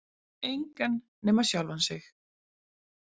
Engan nema sjálfa sig.